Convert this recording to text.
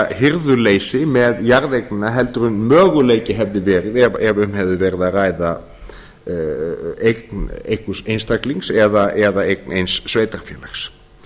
hirðuleysi með jarðeignina heldur en möguleiki hefði verið ef um hefði verið að ræða eign einhvers einstaklings eða eign eins sveitarfélags